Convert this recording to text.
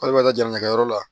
K'ale bɛ taa jamakɛyɔrɔ la